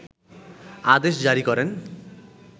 আদেশ জারি করেন